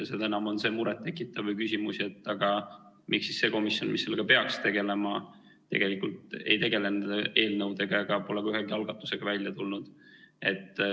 Seda enam on see muret tekitav küsimus, et miks see komisjon, kes sellega peaks tegelema, tegelikult ei ole tegelenud eelnõudega ega ole ka ühegi algatusega välja tulnud.